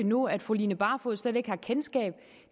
nu at fru line barfod slet ikke har kendskab